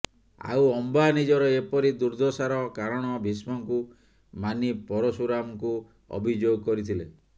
ଆଉ ଅମ୍ବା ନିଜର ଏପରି ଦୁର୍ଦ୍ଦଶାର କାରଣ ଭୀଷ୍ମଙ୍କୁ ମାନି ପରଶୁରାମଙ୍କୁ ଅଭିଯୋଗ କହିଥିଲେ